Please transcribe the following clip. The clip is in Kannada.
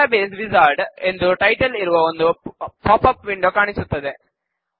ಡಾಟಾಬೇಸ್ ವಿಝಾರ್ಡ್ ಎಂದು ಟೈಟಲ್ ಇರುವ ಒಂದು ಪಾಪ್ ಅಪ್ ವಿಂಡೋ ಕಾಣಿಸುತ್ತದೆ